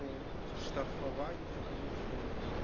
ну штрафование гомофобии